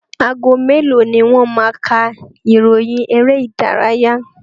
Ago mélòó ni wọ́n máa ka ìròyìn eré ìdárayá?